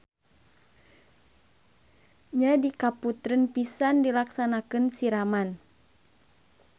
Nya di kaputren pisan dilaksanakeun siraman.